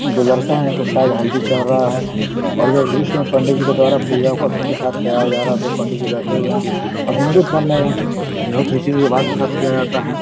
जो लड़का है इनको शायद हल्दी चड़ रहा है और जो दृश्य में पंडित जी के द्वारा पूजाअर्पण के साथ कराया जा रहा है। दो पंडित जी बैठे हुए हैं और हिंदू धर्म मै बोहोत रीती रिवाज के साथ किया जाता है ।